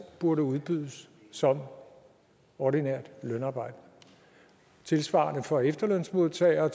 burde udbydes som ordinært lønarbejde og tilsvarende for efterlønsmodtagere